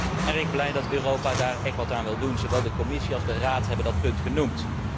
Ik ben erg blij dat Europa daar echt wat aan wil doen, zowel de Commissie als de Raad hebben dat punt genoemd.